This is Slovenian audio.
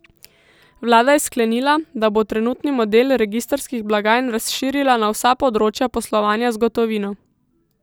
Vlada je sklenila, da bo trenutni model registrskih blagajn razširila na vsa področja poslovanja z gotovino.